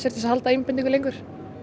að halda einbeitingu lengur